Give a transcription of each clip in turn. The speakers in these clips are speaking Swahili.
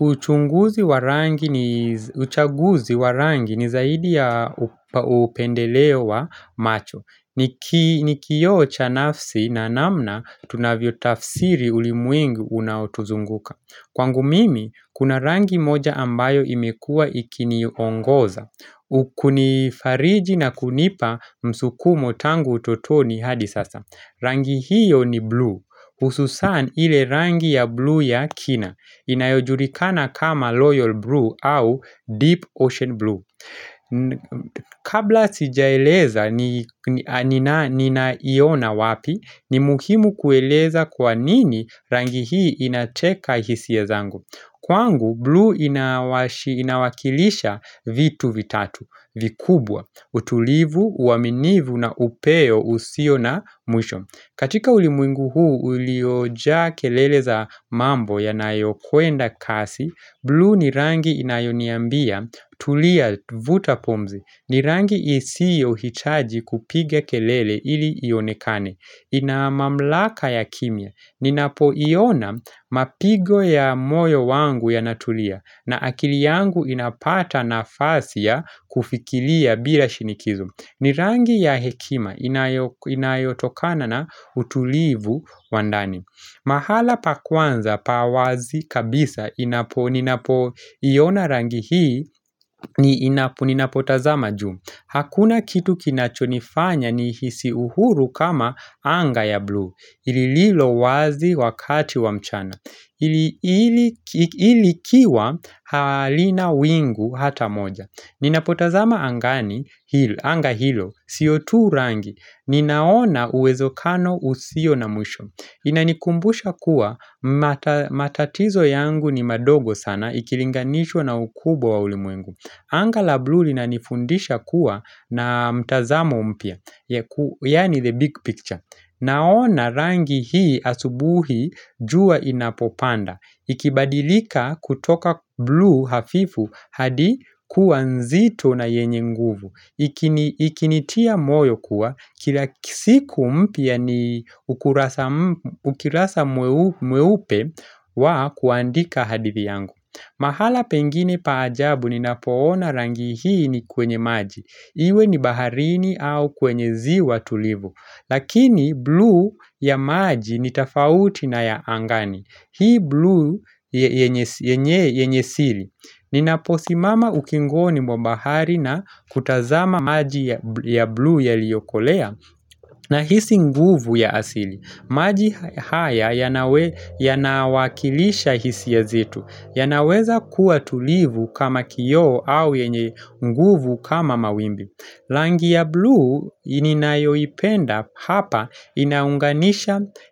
Uchaguzi wa rangi ni zaidi ya upendeleo wa macho. Ni kio cha nafsi na namna tunavyotafsiri ulimwengi unaotuzunguka. Kwangu mimi, kuna rangi moja ambayo imekua ikiniongoza. Kunifariji na kunipa msukumo tangu utotoni hadi sasa. Rangi hiyo ni blue. Ususan ile rangi ya blue ya kina. Inayojulikana kama royal Blue au Deep Ocean Blue Kabla sijaeleza ninaiona wapi ni muhimu kueleza kwa nini rangi hii inateka hisia zangu Kwangu, blue inawakilisha vitu vitatu, vikubwa utulivu, uaminivu na upeo usio na mwisho katika ulimwengu huu uliojaa kelele za mambo yanayokwenda kasi, blue ni rangi inayoniambia tulia vuta pumzi. Ni rangi isiohitaji kupiga kelele ili ionekane. Ina mamlaka ya kimya. Ninapoiona mapigo ya moyo wangu yanatulia na akili yangu inapata nafasi ya kufikilia bila shinikizo. Ni rangi ya hekima inayotokana na utulivu wa ndani mahala pa kwanza pa wazi kabisa ninapoiona rangi hii ninapotazama juu Hakuna kitu kinachonifanya nihisi uhuru kama anga ya blue lililowazi wakati wa mchana likiwa halina wingu hata moja Ninapotazama angani, anga hilo, si tu rangi, ninaona uwezekano usio na mwisho Inanikumbusha kuwa matatizo yangu ni madogo sana, ikilinganishwa na ukubwa wa ulimwengu Anga la blue linanifundisha kuwa na mtazama mpya, yaani the big picture Naona rangi hii asubuhi jua inapopanda Ikibadilika kutoka blue hafifu hadi kua nzito na yenye nguvu Ikinitia moyo kuwa, kila siku mpya ni ukurasa mweupe wa kuandika hadithi yangu mahala pengine pa ajabu ninapoona rangi hii ni kwenye maji Iwe ni baharini au kwenye ziwa tulivu Lakini blue ya maji ni tofauti na ya angani Hii blue yenye siri Ninaposimama ukingoni mwa bahari na kutazama maji ya blue yaliokolea Nahisi nguvu ya asili maji haya yanawakilisha hisia zetu yanaweza kuwa tulivu kama kioo au yenye nguvu kama mawimbi rangi ya blue ninayoipenda hapa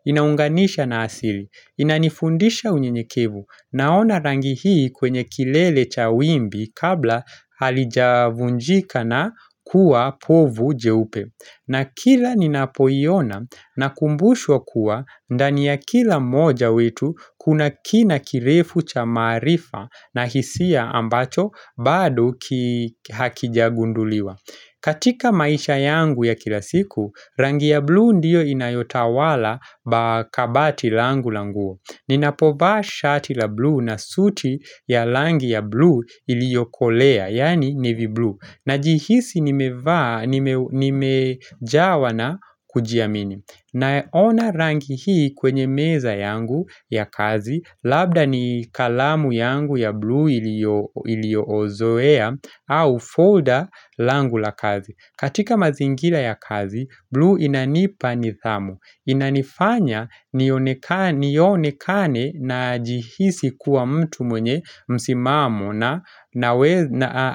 inaunganisha na asili Inanifundisha unyenyekevu naona rangi hii kwenye kilele cha wimbi kabla halijavunjika na kuwa povu jeupe na kila ninapoiona nakumbushwa kuwa ndani ya kila moja wetu kuna kina kirefu cha maarifa na hisia ambacho bado hakijagunduliwa katika maisha yangu ya kila siku, rangi ya blue ndiyo inayotawala kabati langu la nguo Ninapovaa shati la blue na suti ya rangi ya blue iliokolea, yaani navy blue Najihisi nimejawa na kujiamini Naona rangi hii kwenye meza yangu ya kazi Labda ni kalamu yangu ya blue iliozoea au folder langu la kazi katika mazingira ya kazi, blue inanipa nithamu Inanifanya nionekane najihisi kuwa mtu mwenye msimamo na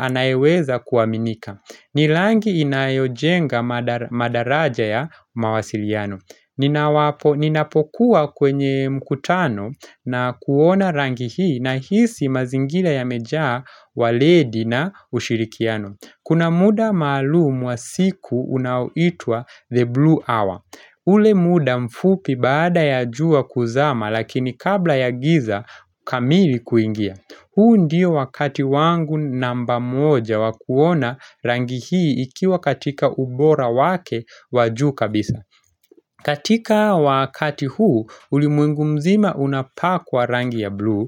anayeweza kuaminika ni rangi inayojenga madaraja ya mawasiliano Ninapokuwa kwenye mkutano na kuona rangi hii nahisi mazingira yamejaa waledi na ushirikiano Kuna muda malumu wa siku unaoitwa The Blue Hour ule muda mfupi baada ya jua kuzama lakini kabla ya giza kamili kuingia huu ndio wakati wangu namba moja wa kuona rangi hii ikiwa katika ubora wake wa juu kabisa katika wakati huu ulimwengu mzima unapaa kwa rangi ya blue.